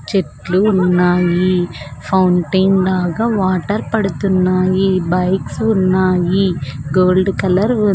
చెట్లు ఉన్నాయి ఫౌంటైన్ లాగా వాటర్ పడుతున్నాయి బైక్స్ ఉన్నాయి గోల్డ్ కలర్ ఉం--